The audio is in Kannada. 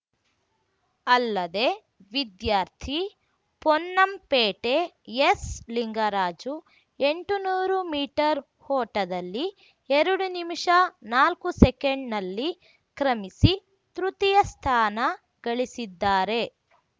ಅಲ್ಲದೇ ವಿದ್ಯಾರ್ಥಿ ಪೊನ್ನಂಪೇಟೆ ಎಸ್‌ ಲಿಂಗರಾಜು ಎಂಟು ನೂರು ಮೀಟರ್ ಓಟದಲ್ಲಿ ಎರಡು ನಿಮಿಷ ನಾಲ್ಕು ಸೆಕೆಂಡ್‌ನಲ್ಲಿ ಕ್ರಮಿಸಿ ತೃತೀಯ ಸ್ಥಾನ ಗಳಿಸಿದ್ದಾರೆ